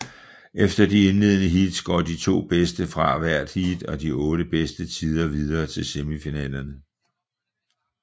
Efter de indledende heats går de to bedste fra hvert heat og de otte bedste tider videre til semifinalerne